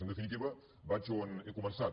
en definitiva vaig on he començat